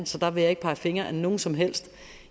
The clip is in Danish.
så der vil jeg ikke pege fingre ad nogen som helst